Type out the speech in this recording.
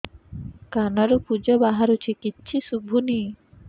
କାନରୁ ପୂଜ ବାହାରୁଛି କିଛି ଶୁଭୁନି